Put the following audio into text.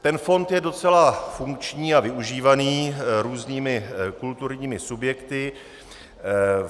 Ten fond je docela funkční a využívaný různými kulturními subjekty.